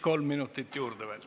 Kolm minutit juurde veel.